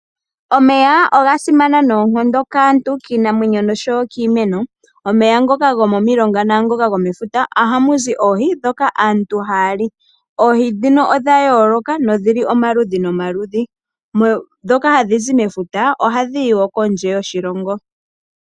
Omeya oga simana noonkondo kaantu , kiinamwenyo noshowo kiimeno .Omeya ngoka gwomomilonga nangoka gwomefuta ohamu zi oohi dhoka aantu hali. Oohi dhino odha yoloka nodhi li omaludhi nomaludhi ,dhoka hadhizi mefuta ohadhi hi wo kondje hoshilongo